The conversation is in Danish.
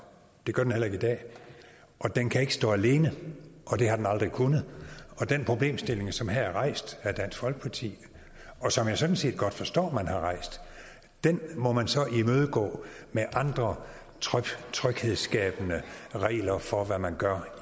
det gør den heller ikke i dag og den kan ikke stå alene det har den aldrig kunnet den problemstilling som her er rejst af dansk folkeparti og som jeg sådan set godt forstår har rejst må man så imødegå med andre tryghedsskabende regler for hvad man gør